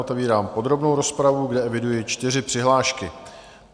Otevírám podrobnou rozpravu, kde eviduji čtyři přihlášky.